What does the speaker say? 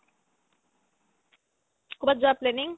ক'ৰবাত যোৱাৰ planning ?